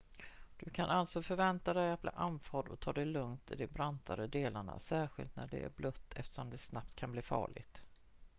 du kan alltså förvänta dig att bli andfådd och ta det lugnt i de brantare delarna särskilt när det är blött eftersom det snabbt kan bli farligt